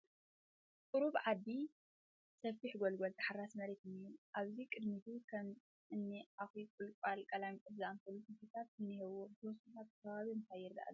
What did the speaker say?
ቑሩብ ዓዲ ሰፊሕ ጎልጎል ተሓራሲ መሬት እንሄ ኣብዚ ቕድሚቱ ከም እኒ ዓኺ፣ ቖለንቛልን ቐላሚጦስን ዝኣመሰሉ ተኽሊታት እንሄውዎ፡ ብተወሳኺ ኣብቲ ኸባቢ እንታይ ይረኣ ኣሎ ?